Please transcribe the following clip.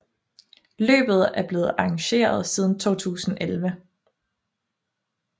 Løbet er blevet arrangeret siden 2011